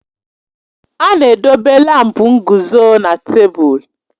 A na-edobe lámpu nguzo na tebụl.